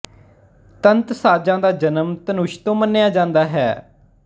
ਤੰਤ ਸਾਜ਼ਾਂ ਦਾ ਜਨਮ ਧਨੁਸ਼ ਤੋਂ ਮੰਨਿਆ ਜਾਂਦਾ ਹੈ